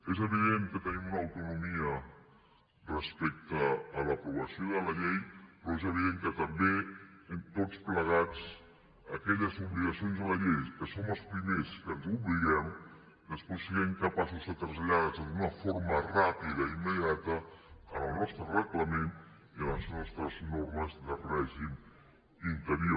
és evident que tenim una autonomia respecte a l’aprovació de la llei però és evident que també tots plegats aquelles obligacions de la llei que som els primers que ens obliguem després siguem capaços de traslladar ho d’una forma ràpida i immediata al nostre reglament i a les nostres normes de règim interior